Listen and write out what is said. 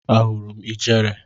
Ahụrụ m ijere.